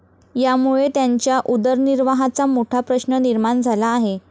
यामुळे त्यांच्या उदरनिर्वाहाचा मोठा प्रश्न निर्माण झाला आहे.